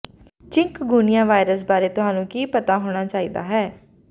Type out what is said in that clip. chikungunya virus ਬਾਰੇ ਤੁਹਾਨੂੰ ਕੀ ਪਤਾ ਹੋਣਾ ਚਾਹੀਦਾ ਹੈ